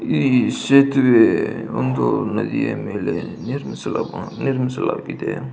ಈ ಸೇತುವೆ ಒಂದು ನದಿಯ ಮೇಲೆ ನಿರ್ಮಿಸಲಾಗಿದೆ.